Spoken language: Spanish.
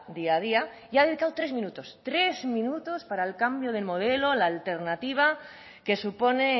día a día y ha dedicado tres minutos tres minutos para el cambio de modelo la alternativa que supone